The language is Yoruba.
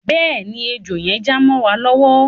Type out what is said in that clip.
Bẹ́ẹ̀ ni, ẹjọ́ yẹn já mọ́ wa lọ́wọ́.